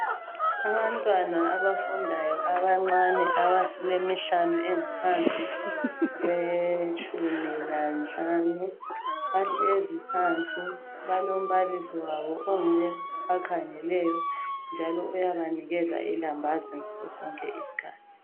abantwana abafundayo abancane abalemihlanu engaphansi kwetshumi lanhlanu bahlezi phansi balombalisi wabo onguye obakhangeleyo njalo uyabanikeza ilambazi ngaso sonke isikhathi